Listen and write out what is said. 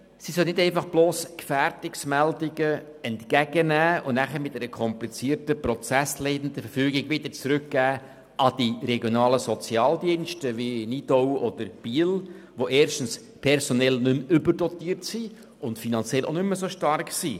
Sie soll nämlich nicht bloss Gefährdungsmeldungen entgegennehmen und diese dann mit einer komplizierten prozessleitenden Verfügung wieder an die regionalen Sozialdienste, beispielsweise in Nidau oder Biel, zurückgeben, die erstens personell nicht mehr überdotiert und finanziell auch nicht mehr so stark sind.